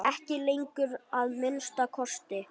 Ekki lengur, að minnsta kosti.